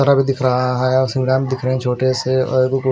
truck दिख रहा है और सुरेम दिख रहे है छोटे से और भी कुछ--